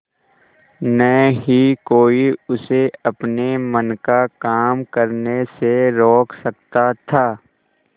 न ही कोई उसे अपने मन का काम करने से रोक सकता था